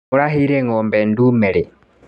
Mũraheire ngombe ndume rĩ.